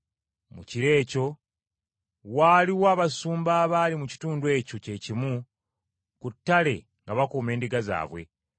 Mu kiro ekyo waaliwo abasumba abaali mu kitundu ekyo kye kimu ku ttale nga bakuuma endiga zaabwe.